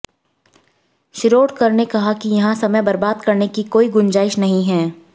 शिरोडकर ने कहा कि यहां समय बर्बाद करने की कोई गुंजाइश नहीं है